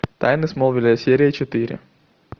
тайны смолвиля серия четыре